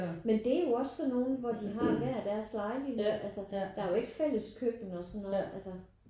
Men det er jo også sådan nogen hvor de har hver deres lejlighed altså der er jo ikke fælles køkken og sådan noget altså